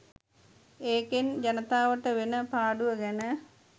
ඒකෙන් ජනතාවට වෙන පාඩුව ගැන